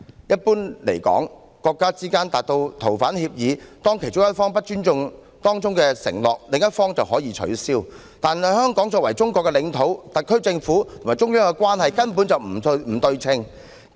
若國家之間達成逃犯協議，其中一方不尊重當中承諾，另一方可以取消，但香港作為中國的領土，特區政府與中央的關係根本不對等。